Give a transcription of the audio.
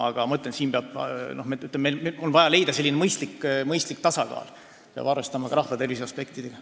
Aga nagu ma ütlesin, siin on vaja leida mõistlik tasakaal, sest peab arvestama ka rahvatervise aspektidega.